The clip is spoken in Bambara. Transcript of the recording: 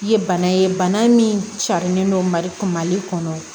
Ye bana ye bana min carilen don mali kunbali kɔnɔ